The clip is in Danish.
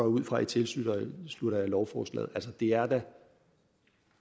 ud fra at i tilslutter jer lovforslaget altså det er da